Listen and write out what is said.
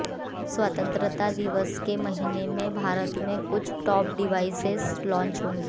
स्वतंत्रता दिवस के महीने में भारत में कुछ टॉप डिवाइसेज लॉन्च होंगी